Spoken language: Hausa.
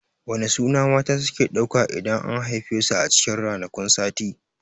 Wane suna mata suke ɗauka idan an haife su a cikin ranakun sati?